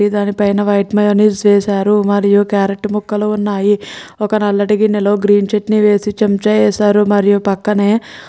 దాని పైన white mayonnaise వేశారు మరియు కార్రోట్ ముక్కల్లు వున్నాయ్ ఒక నల్లటి గిన్నెలలో గ్రీన్ చట్నీ వేసి చెంచ వేసారు మరియు పక్కనే --